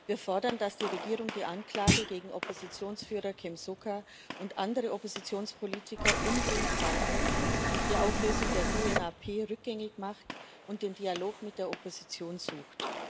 Wir fordern, dass die Regierung die Anklage gegen Oppositionsführer Kem Sokha und andere Oppositionspolitiker umgehend fallen lässt, die Auflösung der CNRP rückgängig macht und den Dialog mit der Opposition sucht.